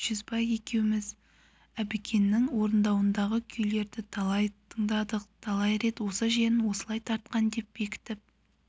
жүзбай екеуміз әбікеннің орындауындағы күйлерді талай тыңдадық талай рет осы жерін осылай тартқан деп бекітіп